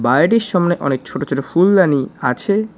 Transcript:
বাইটির সামনে অনেক ছোটো ছোটো ফুলদানি আছে।